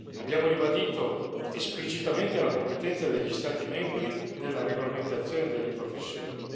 Abbiamo ribadito esplicitamente la competenza degli Stati membri nella regolamentazione delle professioni.